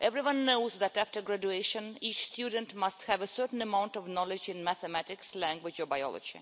Everyone knows that, after graduation, each student must have a certain level of knowledge in mathematics, languages or biology,